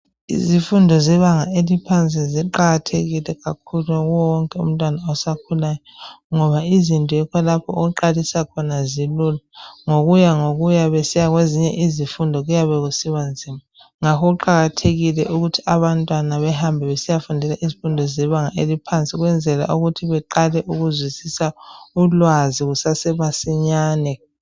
Izifundo zebanga eliphansi ziqakathekile kakhulu kuwo wonke umntwana osakhulayo ngoba izinto yikho lapho okuqalisa khona zilula, ngokuya ngokuya besiya kwezinye izifundo kuyabe kusiba nzima, ngakho kuqakathekile ukuthi abantwana behambe besiyafundela izifundo zebanga eliphansi ukwenzela ukuthi beqale ukuzwisisa ulwazi kusesemasinyane.